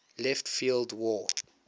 left field wall